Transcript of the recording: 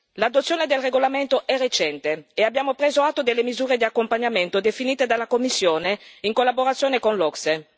L'adozione del regolamento è recente, e abbiamo preso atto delle misure di accompagnamento definite dalla Commissione in collaborazione con l'OCSE.